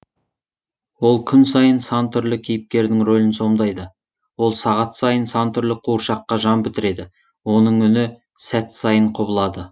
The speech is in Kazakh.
ол күн сайын сан түрлі кейіпкердің ролін сомдайды ол сағат сайын сан түрлі қуыршаққа жан бітіреді оның үні сәт сайын құбылады